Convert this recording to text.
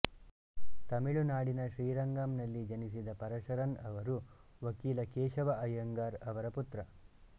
ತಮಿಳುನಾಡಿನ ಶ್ರೀರಂಗಮ್ ನಲ್ಲಿ ಜನಿಸಿದ ಪರಶರನ್ ಅವರು ವಕೀಲ ಕೇಶವ ಅಯ್ಯಂಗಾರ್ ಅವರ ಪುತ್ರ